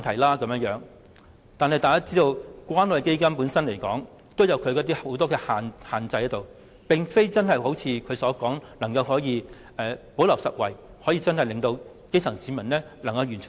不過，大家也知關愛基金本身也受到很多限制，並非如特首所說般可以"補漏拾遺"，讓基層市民得益。